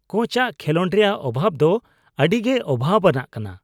ᱠᱳᱪᱟᱜ ᱠᱷᱮᱞᱳᱰ ᱨᱮᱭᱟᱜ ᱚᱵᱷᱟᱵᱽ ᱫᱚ ᱟᱹᱰᱤ ᱜᱮ ᱚᱵᱷᱟᱵᱽ ᱟᱱᱟᱜ ᱠᱟᱱᱟ ᱾